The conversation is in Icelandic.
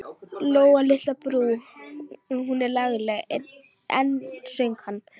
Lóa litla á Brú, hún er lagleg enn, söng hann.